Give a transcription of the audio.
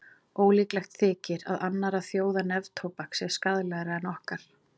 Ólíklegt þykir að annarra þjóða neftóbak sé skaðlegra en okkar.